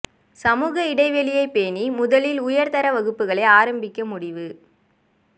சமூக இடைவெளியைப் பேணி முதலில் உயர் தர வகுப்புகளை ஆரம்பிக்க முடிவு